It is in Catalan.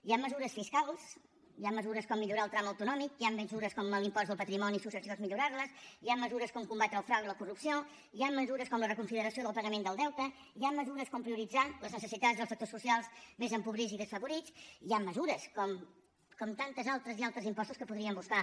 hi han mesures fiscals hi han mesures com millorar el tram autonòmic hi han mesures com l’impost de patrimoni i successions millorar los hi han mesures com combatre el frau i la corrupció hi han mesures com la reconsideració del pagament del deute hi han mesures com prioritzar les necessitats del sectors socials més empobrits i desfavorits hi han mesures com tantes altres i altres impostos que podríem buscar